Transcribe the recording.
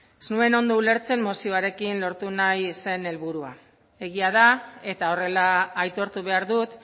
ez nuen ondo ulertzen mozioarekin lortu nahi zen helburua egia da eta horrela aitortu behar dut